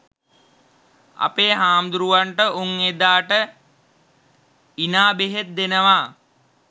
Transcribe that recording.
අපේ හාමුදුරුවන්ට උන් එදාට ඉනා බෙහෙත් දෙනවා.